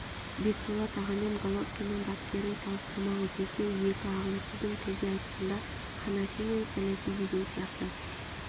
бекболат ағамен головкиннің бапкерін салыстырмаңыз екеуі екі ағым сіздің тілде айтқанда ханафи мен сәләфи деген сияқты